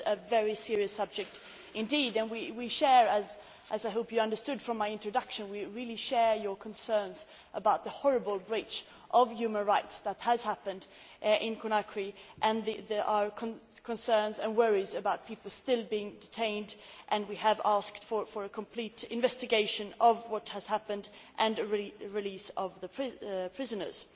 It is a very serious subject and, as I hope you understood from my introduction, we share your concerns about the horrible breach of human rights that has happened in Conakry. There are concerns and worries about people still being detained, and we have asked for a complete investigation of what has happened and the release of the prisoners.